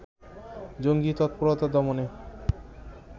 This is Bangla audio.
জঙ্গী তৎপরতা দমনে